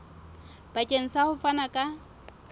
bakeng sa ho fana ka